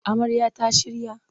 Amarya ta shirya